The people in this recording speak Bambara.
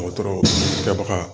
Dɔgɔtɔrɔ kɛbaga